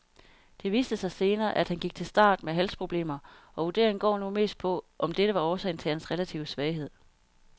Det viste sig senere, at han gik til start med halsproblemer, og vurderingen går nu mest på, om dette var årsagen til hans relative svaghed.